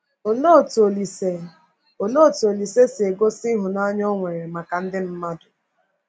Olee otú Olise Olee otú Olise si gosi ịhụnanya o nwere maka ndị mmadụ?